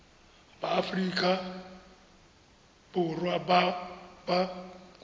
ba aforika borwa ba ba